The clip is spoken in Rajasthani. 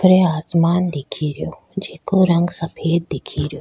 ऊपरे आसमान दिखे रियो जेके रंग सफ़ेद दिखे रियो।